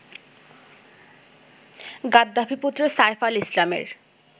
গাদ্দাফি-পুত্র Saif আল-ইসলামের